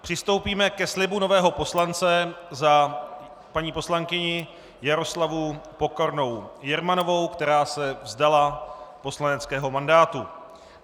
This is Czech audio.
Přistoupíme ke slibu nového poslance za paní poslankyni Jaroslavu Pokornou Jermanovou, která se vzdala poslaneckého mandátu.